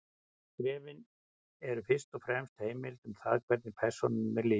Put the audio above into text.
Skrifin eru fyrst og fremst heimild um það hvernig persónunni er lýst.